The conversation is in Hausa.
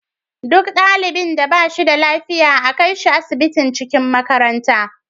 Duk ɗalibin da bashi da lafiya a kaishi asibitin cikin makaranta